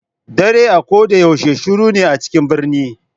Ɗare a ko ɗa yaushe shiru na a cikin ɓirni